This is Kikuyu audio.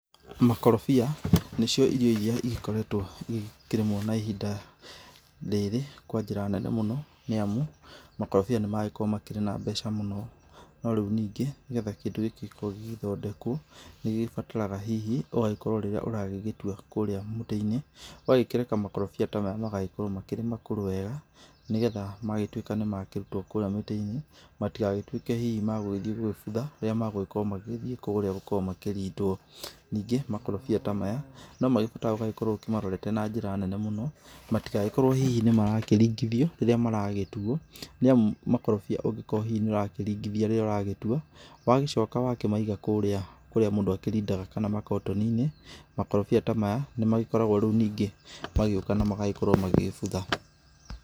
Makorobia nicio irio iria ĩgĩkoretwo ĩgĩkĩrĩmwo na ihinda rĩrĩ kwa njĩra nene mũno nĩ amu makorobia nĩ maragĩkorwo makĩrĩ na mbeca mũno. No rĩu ningĩ nĩgetha kĩndũ gĩkĩ gĩkorwo gĩgĩthondekwo nĩ gĩbataraga hihi ũgagĩkorwo rĩrĩa ũragĩgĩtua kũrĩa mũtĩ-inĩ ũgakĩreka makorobia ta maya magagĩkorwo makĩrĩ makũrũ wega nĩgetha magĩtuĩka nĩmakĩrutwo kũrĩa mũtĩ-inĩ matigagĩtuĩke hihi magũgĩthĩ gũgĩbutha rĩrĩa magũgĩkirwo magĩgĩthii kũrĩa gũkorwo makĩrindwo. Ningĩ makorobia ta maya no magĩbataraga ũgagĩkorwo ũkĩmarorete na njĩra nene mũno matigagĩkorwo hihi nĩ marakĩringithio rĩrĩa maragĩtuwo nĩamu makorobia ũngĩkorwo hihi nĩ ũrakĩringithia rĩrĩa ũragĩtua wagĩcoka wakĩmaiga kũrĩa, kũrĩa mũndũ akĩrindaga kana makotoni-inĩ makorobia ta maya nĩ magĩkoragwo rĩu ningĩ magĩũka na magagĩkorwo magĩgĩbutha.